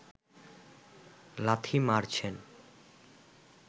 লাথি মারছেন